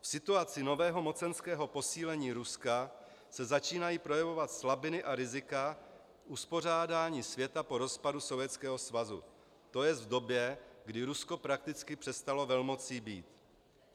V situaci nového mocenského posílení Ruska se začínají projevovat slabiny a rizika uspořádání světa po rozpadu Sovětského svazu, to jest v době, kdy Rusko prakticky přestalo velmocí být.